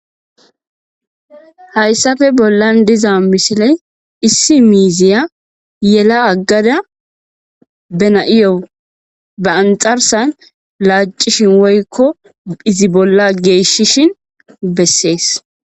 Hayssafe bollan diza mishile issi miiziya yela aggada bena,iyo ba anxarsan laacishin woykko hizi bolla geeshshishin bessees.